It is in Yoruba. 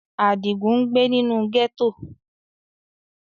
Adigun ngbe ninu gẹto.